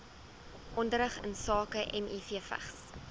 onderrig insake mivvigs